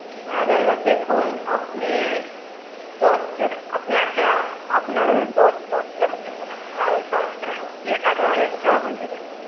না দাদা দেখুন আপনি দশ~ আপনি আচ্ছা, আপনার দশ~ দশ হাজার ও নেবো না আর বারো হাজার ও না আপনি ওই এগারো হাজার টাকা করে দেবেন।